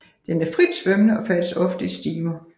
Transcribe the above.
Den er fritsvømmende og færdes ofte i stimer